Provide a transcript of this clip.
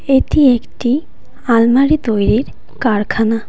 এটি একটি আলমারি তৈরির কারখানা।